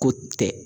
Ko tɛ